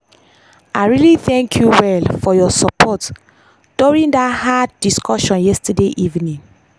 i really thank you well for your support during that hard discussion yesterday evening.